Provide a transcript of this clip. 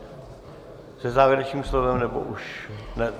Se závěrečným slovem nebo už...